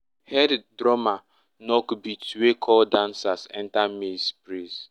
head drummer knock beat wey call dancers enter maize praise